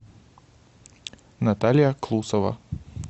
наталья клусова